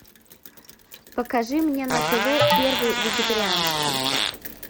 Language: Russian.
покажи мне на тв первый вегетарианский